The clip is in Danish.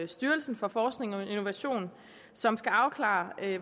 styrelsen for forskning og innovation som skal afklare